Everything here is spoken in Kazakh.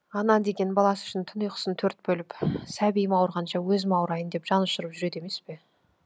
ана деген баласы үшін түн ұйқысын төрт бөліп сәбиім ауырғанша өзім ауырайын деп жан ұшырып жүреді емес пе